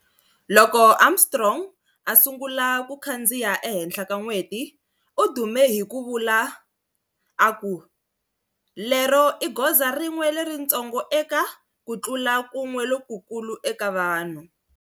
Loko Armstrong a sungula ku kandziya ehenhla ka n'weti, u dume hi ku vula a ku-"Lero i goza rin'we leritsongo eka, ku tlula kun'we lokukulu eka vanhu."